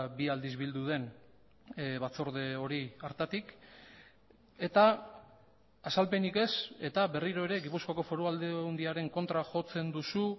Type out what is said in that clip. bi aldiz bildu den batzorde hori hartatik eta azalpenik ez eta berriro ere gipuzkoako foru aldundiaren kontra jotzen duzu